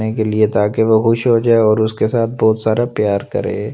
के लिए ताकि वह खुश हो जाए और उसके साथ बहुत सारा प्यार करें।